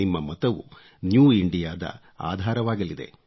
ನಿಮ್ಮ ಮತವು ನ್ಯೂ Indiaದ ಆಧಾರವಾಗಲಿದೆ